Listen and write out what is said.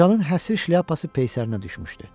Qocanın həsri şlyapası peysərinə düşmüşdü.